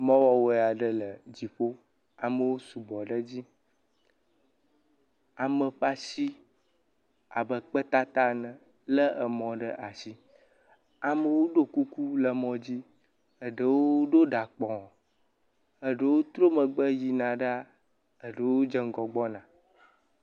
Mɔ wɔwoe aɖe le dziƒo. Amewo sugbɔ ɖe edzi. Ame ƒe asi abe kpetata ene lé mɔ ɖe asi. Amewo ɖo kuku le mɔ dzi. Eɖowo ɖo ɖa kpɔ̃, eɖowo trɔ megbe yina ɖaa. Eɖewo dze ŋgɔ gbɔna.